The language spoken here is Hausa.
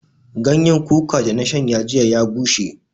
Ganyan kuka da na shanya jiya ya bushe